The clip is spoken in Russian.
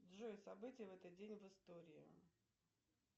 джой события в этот день в истории